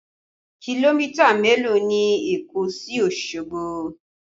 Kìlómítà mélòó ni Èkó sí Osogbo?